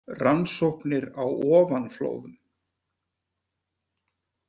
Rannsóknir á ofanflóðum.